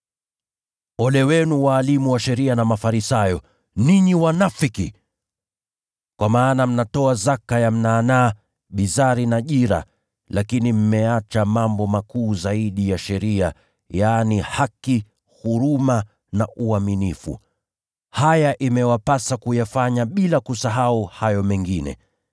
“Ole wenu walimu wa sheria na Mafarisayo, ninyi wanafiki! Kwa maana mnatoa zaka ya mnanaa, bizari na jira, lakini mmeacha mambo makuu zaidi ya sheria, yaani haki, huruma na uaminifu. Iliwapasa kufanya haya makuu ya sheria bila kupuuza hayo matoleo.